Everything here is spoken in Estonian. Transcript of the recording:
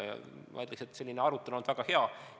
Ma ütleks, et arutelu on olnud väga hea.